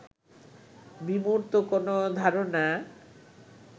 বিমূর্ত কোন ধারণা